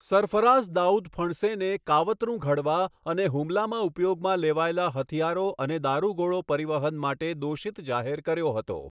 સરફરાઝ દાઉદ ફણસેને કાવતરું ઘડવા અને હુમલામાં ઉપયોગમાં લેવાયેલા હથિયારો અને દારૂગોળો પરિવહન માટે દોષિત જાહેર કર્યો હતો.